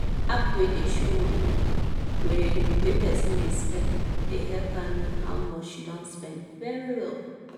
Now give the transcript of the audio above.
app wey dey show money wey wey person dey spend dey help her know how much she don spend very well